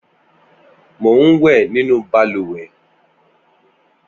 Mò n wẹ̀ ninú bàlùwẹ̀